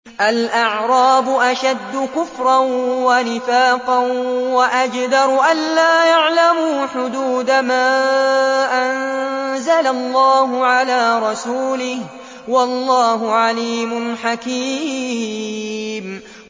الْأَعْرَابُ أَشَدُّ كُفْرًا وَنِفَاقًا وَأَجْدَرُ أَلَّا يَعْلَمُوا حُدُودَ مَا أَنزَلَ اللَّهُ عَلَىٰ رَسُولِهِ ۗ وَاللَّهُ عَلِيمٌ حَكِيمٌ